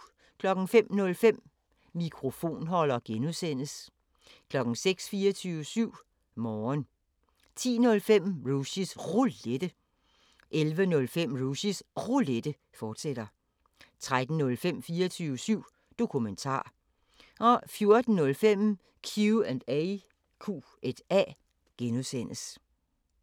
05:05: Mikrofonholder (G) 06:00: 24syv Morgen 10:05: Rushys Roulette 11:05: Rushys Roulette, fortsat 13:05: 24syv Dokumentar 14:05: Q&A (G)